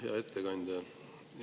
Hea ettekandja!